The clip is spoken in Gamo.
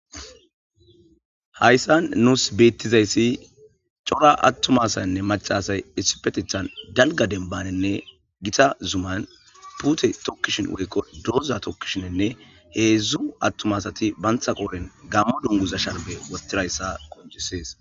hayssan nuus beettizayssi cora attumasanne macasay issipetethan dalga denbanenne gita zuman pute tokkishin woykko doza tokkishinenne heedzdzu attumasati bantha qooren gammo dunguza shalbe wostirayssa qoncisees